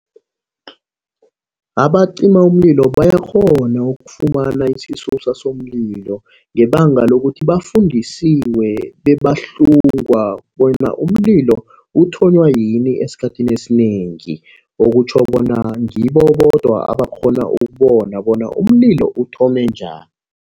Abacima umlilo bayakghona ukufumana isisusa somlilo ngebanga lokuthi bafundisiwe bebahlungwa bona umlilo uthonywa yini esikhathini esinengi. Okutjho bona ngibo bodwa abakghona ukubona bona umlilo uthome njani.